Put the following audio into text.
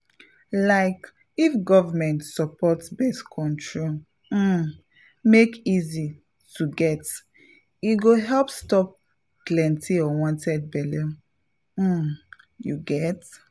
like if government support birth control um make easy to get e go help stop plenty unwanted belle — um you get?